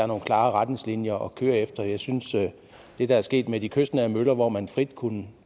nogle klare retningslinjer at køre efter jeg synes at det der er sket med de kystnære møller hvor man frit kunne